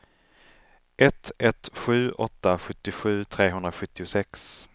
ett ett sju åtta sjuttiosju trehundrasjuttiosex